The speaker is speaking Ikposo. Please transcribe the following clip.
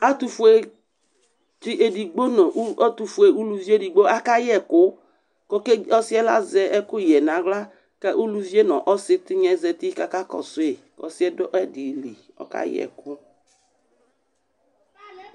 Ɛtʋfuetsɩ edigbo nʋ ɛtʋfue uluvi edigbo akayɛ ɛkʋ kʋ ɔke ɔsɩ azɛ ɛkʋyɛ yɛ nʋ aɣla kʋ uluvi yɛ nʋ ɔsɩ tɩnya yɛ zati kʋ akakɔsʋ yɩ kʋ ɔsɩ yɛ dʋ ɛdɩ li Ɔkayɛ ɛkʋ